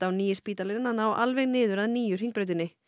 nýja spítalann alveg niður að nýju Hringbrautinni